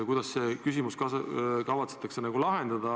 Kuidas see küsimus kavatsetakse lahendada?